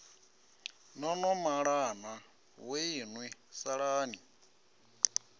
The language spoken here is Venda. no no malana vhoinwi salani